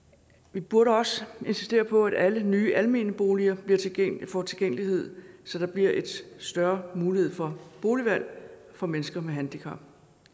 vi burde også insistere på at alle nye almene boliger får tilgængelighed så der bliver en større mulighed for boligvalg for mennesker med handicap